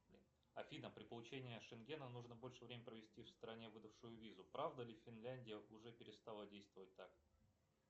афина при получении шенгена нужно больше времени провести в стране выдавшую визу правда ли финляндия уже перестала действовать так